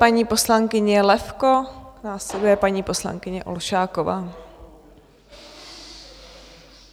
Paní poslankyně Levko, následuje paní poslankyně Olšáková.